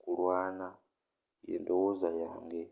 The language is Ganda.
kulwaana.yendowooza yange.